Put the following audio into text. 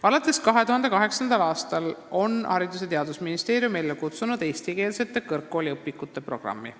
" Alates 2008. aastast on Haridus- ja Teadusministeerium ellu kutsunud eestikeelsete kõrgkooliõpikute programmi.